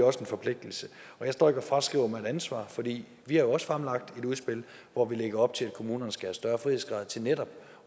også en forpligtelse og jeg står ikke og fraskriver mig et ansvar for vi har jo også fremlagt et udspil hvor vi lægger op til at kommunerne skal have større frihedsgrader til netop